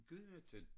Gudhjemmetyndt?